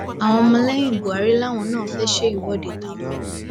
àwọn ọmọlẹyìn buhari làwọn náà fẹ ṣe ìwọde tàwọn o